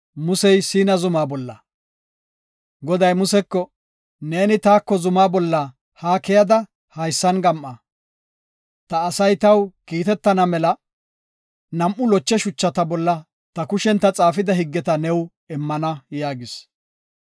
Goday Museko, “Neeni taako zumaa bolla haa keyada, haysan gam7a. Ta asay taw kiitetana mela nam7u loche shuchata bolla ta kushen ta xaafida higgeta new immana” yaagis.